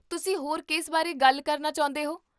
ਤੁਸੀਂ ਹੋਰ ਕਿਸ ਬਾਰੇ ਗੱਲ ਕਰਨਾ ਚਾਹੁੰਦੇ ਹੋ?